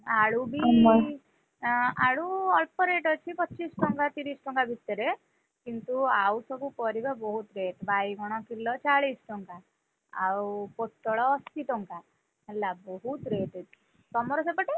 ହୁଁ ଆଳୁ ବି ଆଁ ଆଳୁ ଅଳ୍ପ rate ଅଛି ପଚିଶି ଟଙ୍କା ତିରିଶ୍ ଟଙ୍କା ଭିତରେ, କିନ୍ତୁ ଆଉ ସବୁ ପରିବା ବହୁତ rate ବାଇଗଣ କିଲ ଚାଳିଶି ଟଙ୍କା, ଆଉ ପୋଟଳ ଅଶି ଟଙ୍କା, ହେଲା ବହୁତ rate ଏଠି, ତମର ସେପଟେ?